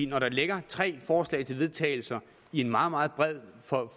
når der ligger tre forslag til vedtagelse i en meget meget bred